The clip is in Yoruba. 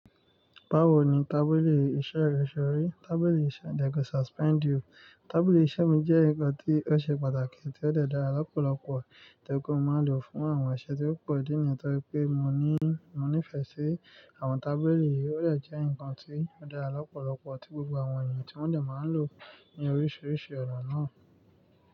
Báwo ni tábìlì iṣẹ́ rẹ ṣe rí? Tábìlì iṣẹ́. Tábìlì iṣẹ́ mi jẹ́ nǹkan tí ó ṣe pàtàkì tí ó dàda lọ́pọ̀lọpọ̀ tí ó máa ń lò fún àwọn iṣẹ́ tí ó pọ̀ nítorí pé mo ní mo nífẹ̀ẹ́ sí àwọn tábìlì, ó jẹ́ nǹkan tí ó dàra lọ́pọ̀lọpọ̀ tí gbogbo àwọn èèyàn tí wọ́n dẹ̀ máa ń lò ní oríṣiríṣi ọ̀nà náà.